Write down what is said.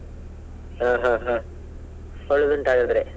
ಹಾ ಹಾ ಹಾ ಒಳ್ಳೇದ್ ಉಂಟು ಹಾಗಾದ್ರೆ.